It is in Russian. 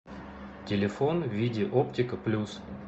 телефон види оптика плюс